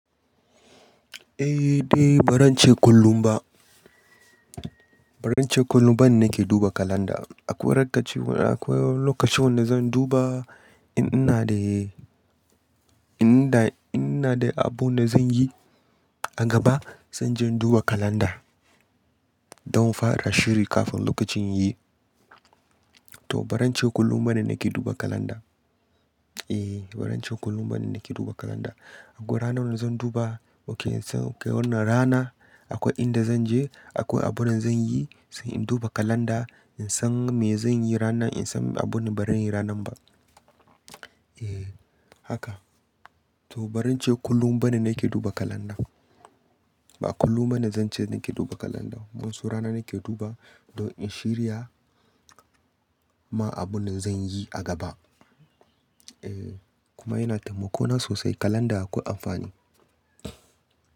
Eh dai, ba ran ce kullum ba. Ba ran ce kullum bane nake duba kalanda. Akwai rakkaci, akwai lokacin wanda zan duba in ina da, in ina da abu da zan yi a gaba, zan je in duba kalanda don in fara shiri kafin lokacin yiyi. To ba ran ce kullum bane nake duba kalanda. Eh ba ran ce kullum bane nake duba kalanda. Akwai ranar da zan duba, oke in san oke wannan rana akwai inda zan je, akwai abin da zan yi, sai in duba kalanda in san me zan yi ranan, in san abun ba zan yi ranan ba. Eh haka. To ba ran ce kullum bane nake duba kalanda. Ba kullum bane zance nake duba kalanda. Wayan su rana nake duba don in shirya ma abun da zan yi a gaba. Eh kuma yana taimako na sosai kalanda akwai amfani.